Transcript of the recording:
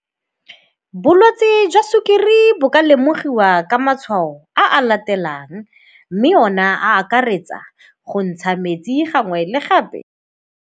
Bolwetsi jwa sukiri bo ka lemogiwa ka matshwao a latelang, mme ona a akaretsa go ntsha metsi gangwe le gape.